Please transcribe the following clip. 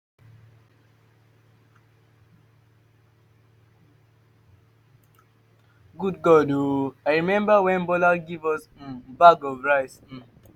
god good oo. i remember wen bola give us um bag of rice um